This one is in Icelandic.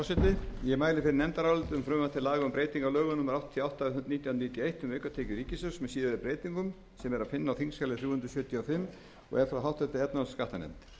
níutíu og eitt um aukatekjur ríkissjóðs með síðari breytingum sem er að finna á þingskjali þrjú hundruð sjötíu og fimm og er frá háttvirtri efnahags og skattanefnd